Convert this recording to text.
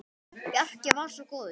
Bjarki var svo góður.